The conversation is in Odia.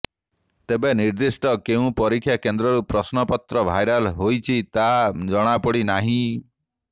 ତେବେ ନିର୍ଦ୍ଧିଷ୍ଟ କେଉଁ ପରୀକ୍ଷା କେନ୍ଦ୍ରରୁ ପ୍ରଶ୍ନପତ୍ର ଭାଇରାଲ୍ ହୋଇଛି ତାହା ଜଣାପଡ଼ିନାହିଁ